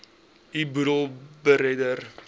u boedel beredder